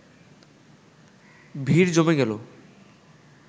ভিড় জমে গেল